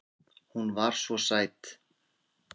Hún var svo sæt.